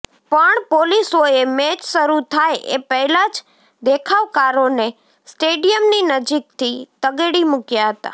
પણ પોલીસોએ મેચ શરૂ થાય એ પહેલાં જ દેખાવકારોને સ્ટેડિયમની નજીકથી તગેડી મૂક્યા હતા